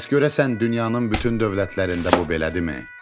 Bəs görəsən dünyanın bütün dövlətlərində bu belədirmi?